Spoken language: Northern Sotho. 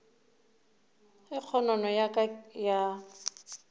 ge kgonono ya ka ya